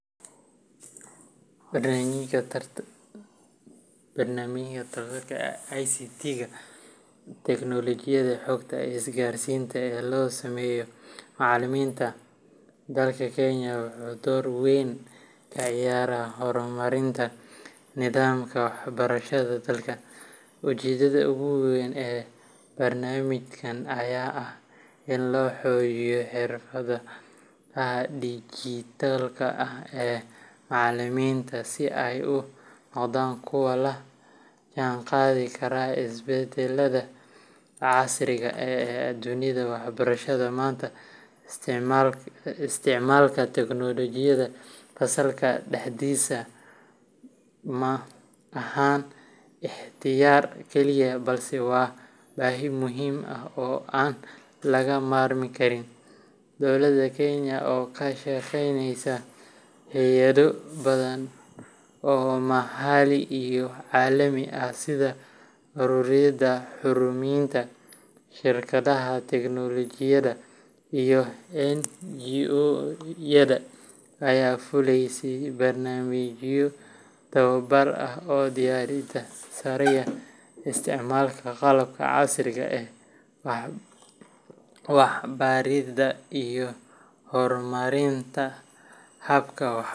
Barnaamijka tababarka ICT ga Teknoolojiyadda Xogta iyo Isgaarsiinta ee loo sameeyo macallimiinta dalka Kenya wuxuu door weyn ka ciyaaraa horumarinta nidaamka waxbarashada dalka. Ujeeddada ugu weyn ee barnaamijkan ayaa ah in la xoojiyo xirfadaha dijitaalka ah ee macallimiinta si ay u noqdaan kuwo la jaanqaadi kara isbeddellada casriga ah ee dunida waxbarashada. Maanta, isticmaalka teknoolojiyadda fasalka dhexdiisa ma ahan ikhtiyaar kaliya, balse waa baahi muhiim ah oo aan laga maarmi karin. Dowladda Kenya oo kaashaneysa hay’ado badan oo maxalli iyo caalami ah, sida ururada horumarinta, shirkadaha tiknoolajiyadda, iyo NGO yada, ayaa fulisay barnaamijyo tababar ah oo diiradda saaraya isticmaalka qalabka casriga ah ee waxbaridda iyo horumarinta habka .